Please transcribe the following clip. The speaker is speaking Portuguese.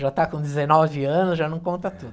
Já está com dezenove anos, já não conta tudo.